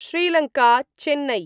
Sri Lanka Chennai